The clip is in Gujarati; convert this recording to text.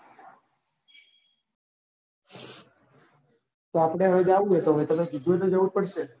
તો આપડે હવે જાવું હે તો હવે તમે કીધું તો જવું જ પડશે ને.